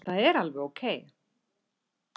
Það er alveg ókei.